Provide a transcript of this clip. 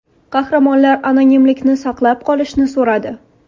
Qahramonlar anonimlikni saqlab qolishni so‘radi.